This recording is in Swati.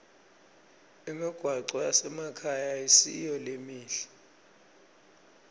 imigwaco yasemakhaya ayisiyo lemihle